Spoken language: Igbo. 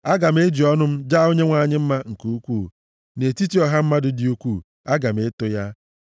Aga m eji ọnụ m jaa Onyenwe anyị mma nke ukwuu; nʼetiti ọha mmadụ dị ukwuu, aga m eto ya.